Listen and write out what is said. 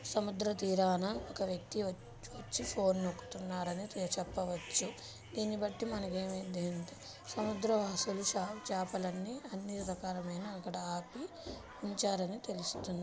సముద్ర తీరాన ఒక వ్యక్తి వచ్ వచ్చి ఫోన్ నొక్కుతున్నారని చెప్ చెప్పా వచ్చు. దీన్ని బట్టి మనకు ఏమైందంటే సముద్రవాసులు చేప్ చేపల్లన్ని అన్ని రకాలవి ఆపి అక్కడ ఉంచారని తెలుస్తుం--